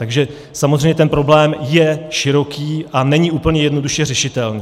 Takže samozřejmě ten problém je široký a není úplně jednoduše řešitelný.